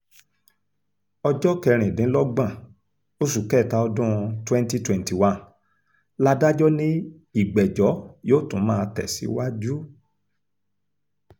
ọjọ́ kẹrìndínlọ́gbọ̀n oṣù kẹta ọdún 2021 ládàjọ́ ni ìgbẹ́jọ́ yóò tún máa tẹ̀síwájú